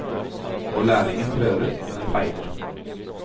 Og lærlingen prøver, men feiler.